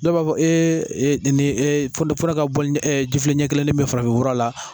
Dɔw b'a fɔ ee nin ee fura ka bɔlini ɛ ji filen ɲɛ kelen bɛɛ mi farafinfura la